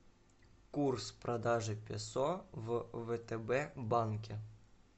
курс продажи песо в втб банке